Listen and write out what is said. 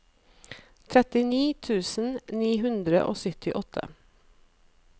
trettini tusen ni hundre og syttiåtte